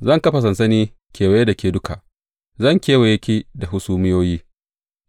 Zan kafa sansani kewaye da ke duka; zan kewaye ki da hasumiyoyi